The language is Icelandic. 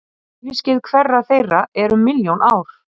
Æviskeið hverrar þeirra er um milljón ár.